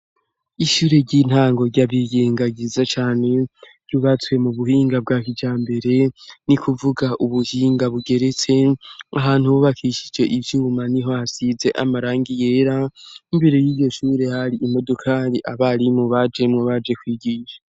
Ishure ry'intango ryabiyenga ryiza cane ry'ubatswe mu buhinga bwa kijambere ni kuvuga ubuhinga bugeretse. Ahantu hubakishije ivyuma niho hasize amarangi yera, imbere y'iryo shure hari imodokari abarimu bajemwo baje kwigisha.